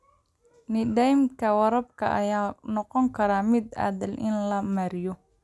Nidaamyada waraabka ayaa noqon kara mid adag in la maareeyo.